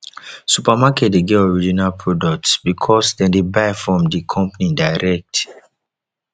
supermarket de get original products because dem de buy from di company direct